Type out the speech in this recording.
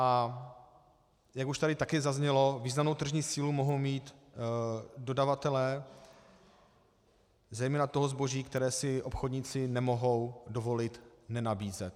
A jak už tady taky zaznělo, významnou tržní sílu mohou mít dodavatelé zejména toho zboží, které si obchodníci nemohou dovolit nenabízet.